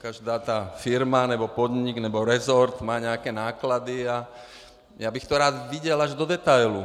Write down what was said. Každá ta firma, nebo podnik, nebo resort má nějaké náklady a já bych to rád viděl až do detailů.